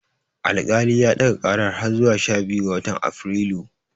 Alkali ya ɗaga ƙarar har zuwa sha biyu ga watan Afrilu.